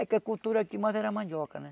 É que a cultura aqui mais era mandioca, né?